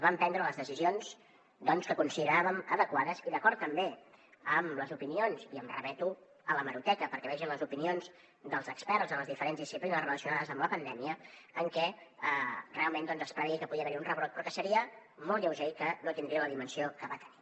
vam prendre les decisions doncs que consideràvem adequades i d’acord també amb les opinions i em remeto a l’hemeroteca perquè vegin les opinions dels experts en les diferents disciplines relacionades amb la pandèmia en què realment es preveia que podia haver hi un rebrot però que seria molt lleuger i que no tindria la dimensió que va tenir